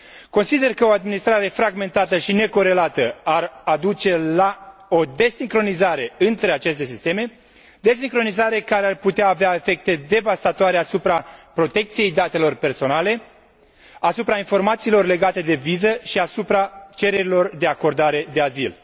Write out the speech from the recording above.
Consider că o administrare fragmentată și necorelată ar duce la o desincronizare între aceste sisteme, desincronizare care ar putea avea efecte devastatoare asupra protecției datelor personale, asupra informațiilor legate de viză și asupra cererilor de acordare de azil.